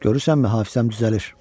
Görürsənmi hafizəm düzəlir.